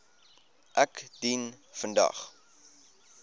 ek dien vandag